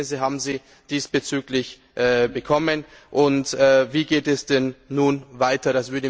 Welche Ergebnisse haben Sie diesbezüglich bekommen, und wie geht es denn nun weiter?